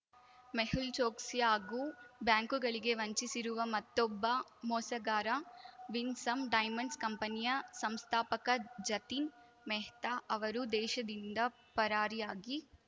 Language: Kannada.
ಮೆಹುಲ್‌ ಚೋಕ್ಸಿ ಹಾಗೂ ಬ್ಯಾಂಕುಗಳಿಗೆ ವಂಚಿಸಿರುವ ಮತ್ತೊಬ್ಬ ಮೋಸಗಾರ ವಿನ್‌ಸಮ್‌ ಡೈಮಂಡ್ಸ್‌ ಕಂಪನಿಯ ಸಂಸ್ಥಾಪಕ ಜತಿನ್‌ ಮೆಹ್ತಾ ಅವರು ದೇಶದಿಂದ ಪರಾರಿಯಾಗಿ